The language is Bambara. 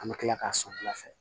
An bɛ tila k'a sɔn wulafɛ